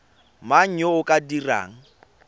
mang yo o ka dirang